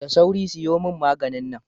Da sauri siyo mani maganin nan